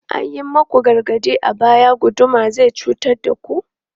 An yi muku gargaɗi a baya, guduma zai cutar da ku!